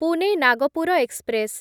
Pune Nagpur express